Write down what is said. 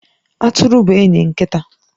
Atụrụ bụ enyi nkịta.